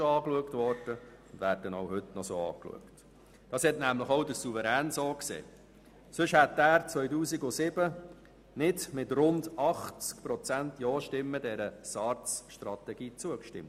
Auch der Souverän hat das so gesehen, sonst hätte er dieser SARZ-Strategie im Jahr 2007 nicht mit rund 80 Prozent Ja-Stimmen zugestimmt.